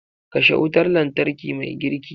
Kashe wutar lantarki mai girki.